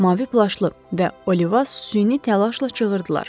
Mavi plaşlı və Oliva süni təlaşla çığırdılar.